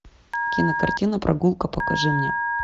кинокартина прогулка покажи мне